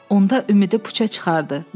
Onda ümidi puça çıxardı.